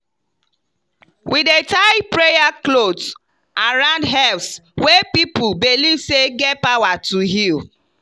we dey tie prayer cloth around herbs wey people believe say get power to heal.